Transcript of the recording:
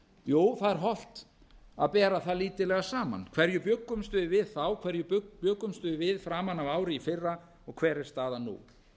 jú það er hollt að bera það lítillega saman hverju bjuggumst við við þá hverju bjuggumst við við framan af ári í fyrra og hver er staðan nú